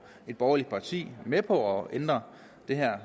et borgerligt parti med på at ændre det her